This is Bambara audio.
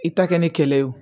I ta kɛ ni kɛlɛ ye